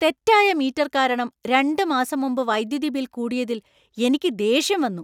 തെറ്റായ മീറ്റർ കാരണം രണ്ട് മാസം മുമ്പ് വൈദ്യുതി ബിൽ കൂടിയതിൽ എനിക്ക് ദേഷ്യം വന്നു.